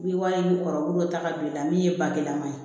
N'i ye wari in kɔrɔtaga don i la min ye bagilan man ye